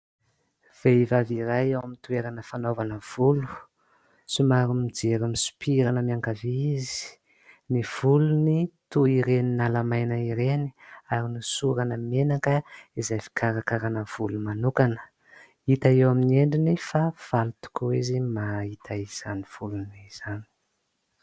Vehivavy iray ao amin'ny toerana fanaovana volo. Somary mijery misopirana miankavia izy, ny volony toy ireny nalamaina ireny ary nosorana menaka izay fikarakaràna volo manokana. Hita eo amin'ny endriny fa faly tokoa izy mahita izany volony izany.